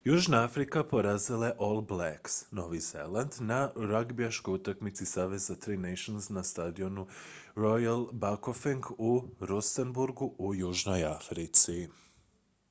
južna afrika porazila je all blacks novi zeland na ragbijaškoj utakmici saveza tri nations na stadionu royal bafokeng u rustenburgu u južnoj africi